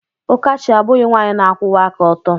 Ụkachi abụghị nwanyị na-akwụwa aka ọtọ.